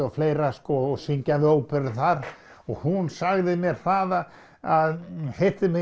og fleira og syngja við óperu þar hún sagði mér það að